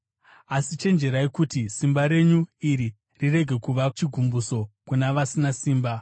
Asi chenjerai, kuti simba renyu iri rirege kuva chigumbuso kuna vasina simba.